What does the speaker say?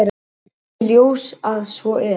Kom í ljós að svo er.